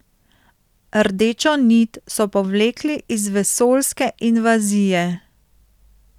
Rdečo nit so povlekli iz vesoljske invazije.